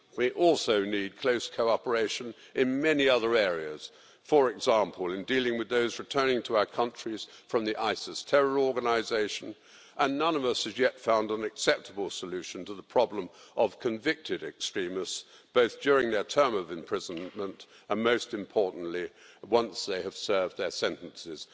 We also need close cooperation in many other areas, for example in dealing with those returning to our countries from the ISIS terror organisation, and none of us has yet found an acceptable solution to the problem of convicted extremists, both during their term of imprisonment and most importantly once they have served their sentences.